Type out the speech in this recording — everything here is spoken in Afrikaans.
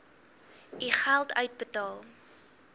u geld uitbetaal